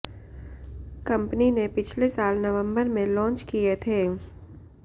company ने पिछले साल नवंबर में लॉन्च किए थे